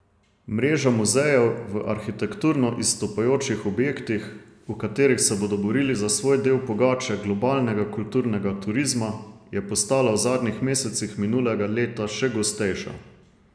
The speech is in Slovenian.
Mreža muzejev v arhitekturno izstopajočih objektih, v katerih se bodo borili za svoj del pogače globalnega kulturnega turizma, je postala v zadnjih mesecih minulega leta še gostejša.